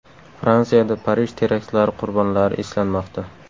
Fransiyada Parij teraktlari qurbonlari eslanmoqda.